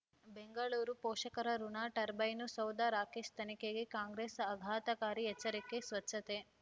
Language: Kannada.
ಬೆಂಗಳೂರು ಪೋಷಕರಋಣ ಟರ್ಬೈನು ಸೌಧ ರಾಕೇಶ್ ತನಿಖೆಗೆ ಕಾಂಗ್ರೆಸ್ ಆಘಾತಕಾರಿ ಎಚ್ಚರಿಕೆ ಸ್ವಚ್ಛತೆ